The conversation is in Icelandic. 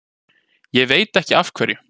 Ég veit ekki af hverju.